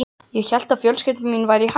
Ég hélt að fjölskylda mín væri í hættu.